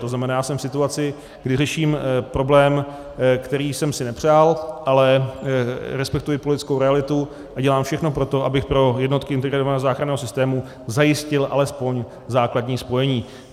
To znamená, já jsem v situaci, kdy řeším problém, který jsem si nepřál, ale respektuji politickou realitu a dělám všechno pro to, abych pro jednotky integrovaného záchranného systému zajistil alespoň základní spojení.